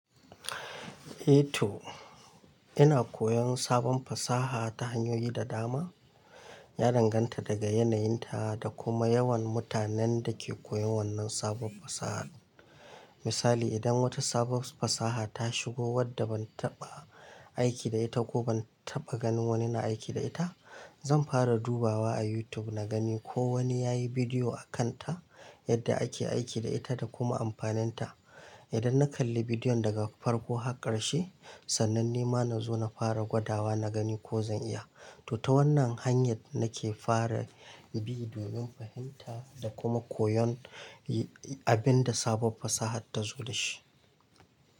Eh tuh ina koyan sabun fasaha ta hanyoyi da dama. Ya danganta daga yanayinta da kuma yawan mutanen da ke koyon wannan sabon fasahar. Misali, idan wata sabon fasaha ta shigo wadda ban taɓa aiki da ita ko ban taɓa ganin wani na aiki da ita, zan fara dubawa a YouTube na gani ko wani yayi bidiyo a kanta yadda ake aiki da ita da kuma amfaninta. Idan na kalli bidiyon daga farko har ƙarshe, sannan ni ma na zo na fara gwadawa na gani ko zan iya. To ta wannan hanyar nake fara bidiyon, fahimta da kuma koyon abinda sabob fasaha ta zo da shi.